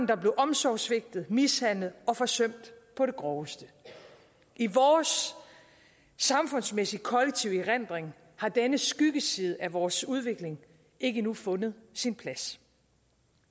der blev omsorgssvigtet mishandlet og forsømt på det groveste i vores samfundsmæssige kollektive erindring har denne skyggeside af vores udvikling ikke endnu fundet sin plads